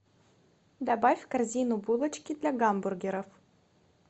добавь в корзину булочки для гамбургеров